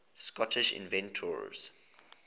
scottish inventors